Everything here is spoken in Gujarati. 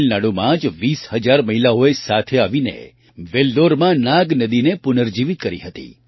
તમિલનાડુમાં જ ૨૦ હજાર મહિલાઓએ સાથે આવીને વેલ્લોરમાં નાગ નદીને પુનર્જીવિત કરી હતી